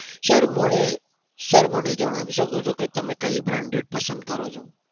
sir મને જણાવી શકો છો કે તમે કઈ branded પસંદ કરો છો?